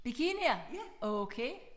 Bikinier okay